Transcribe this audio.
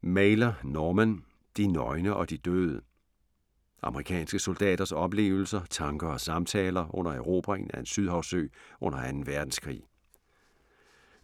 Mailer, Norman: De nøgne og de døde Amerikanske soldaters oplevelser, tanker og samtaler under erobringen af en sydhavsø under 2. verdenskrig.